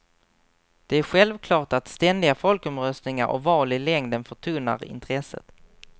Det är självklart att ständiga folkomröstningar och val i längden förtunnar intresset.